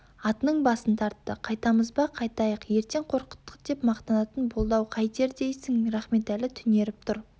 атының басын тартты қайтамыз ба қайтайық ертең қорқыттық деп мақтанатын болды-ау қайтер дейсің рахметәлі түнеріп тұр